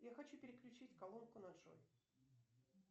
я хочу переключить колонку на джой